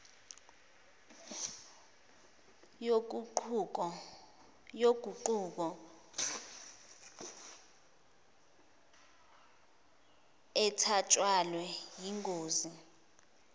yoguquko ethatshathwe yingosi